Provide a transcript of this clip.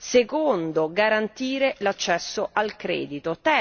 secondo garantire l'accesso al credito